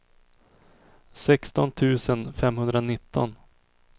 sexton tusen femhundranitton